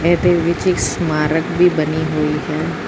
ਇਹਦੇ ਵਿੱਚ ਇੱਕ ਸਮਾਰਕ ਵੀ ਬਣੀ ਹੋਈ ਹੈ।